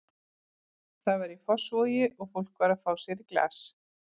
Það var í Fossvogi og fólk var að fá sér í glas.